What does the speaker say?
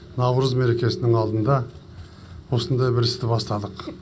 наурыз мерекесінің алдында осындай бір істі бастадық